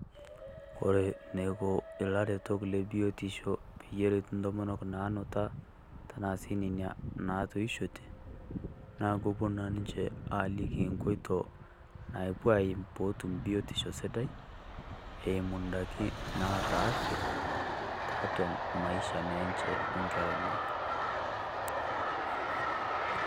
Kore eneiko ilaretok lebiotisho peyie eret intomonok naanuta, tenaa sii Nena naitiishote, naa kepuo naa ninche aaliki enkoito naapuo aim pee etum biotisho sidai eimu edaiki naata afya tiatua naa Maisha enye o Nkera enye.